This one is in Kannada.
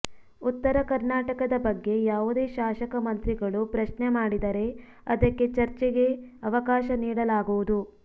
ಉತ್ತರ ಕರ್ನಾಟಕದ ಬಗ್ಗೆ ಯಾವುದೇ ಶಾಸಕ ಮಂತ್ರಿಗಳು ಪ್ರಶ್ನೆ ಮಾಡಿದರೆ ಅದಕ್ಕೆ ಚರ್ಚೆಗೆ ಅವಕಾಶ ನೀಡಲಾಗುವುದು